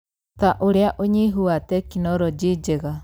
ta ũrĩa ũnyihu wa tekinoronjĩ njega,